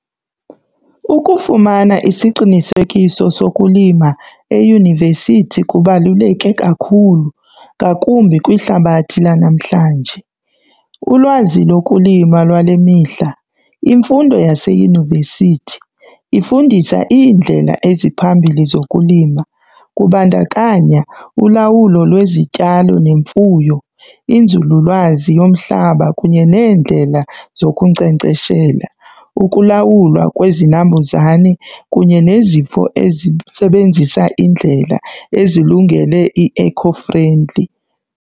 Ukufumana isiqinisekiso sokulima eyunivesithi kubaluleke kakhulu ngakumbi kwihlabathi lanamhlanje. Ulwazi lokulima lwale mihla, imfundo yaseyunivesithi ifundisa iindlela eziphambili zokulima. Kubandakanya ulawulo lwezityalo nemfuyo, inzululwazi yomhlaba kunye nendlela zokunkcenkceshela, ukulawulwa kwezinambuzane kunye nezifo ezisebenzisa indlela ezilungele i-eco friendly.